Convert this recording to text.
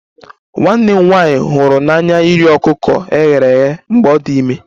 Nwanne m nwanyị hụrụ n'anya iri ọkụkọ e ghere eghe mgbe ọ dị ime